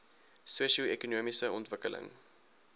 sosio ekonomiese ontwikkeling